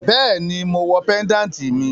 Bẹẹni, mo wọ péńdàtì míì.